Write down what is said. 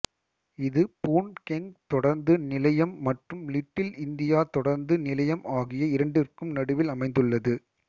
இது Boon Keng தொடருந்து நிலையம் மற்றும் லிட்டில் இந்தியா தொடருந்து நிலையம் ஆகிய இரண்டிற்கும் நடுவில் அமைந்துள்ளது